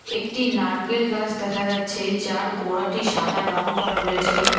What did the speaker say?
একটি নারকেল গাছ দেখা যাচ্ছে যার গোড়াটি সাদা রং করা রয়েছে।